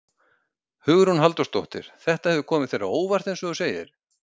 Hugrún Halldórsdóttir: Þetta hefur komið þér á óvart eins og þú segir?